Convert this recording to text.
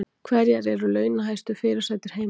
Hverjar eru launahæstu fyrirsætur heims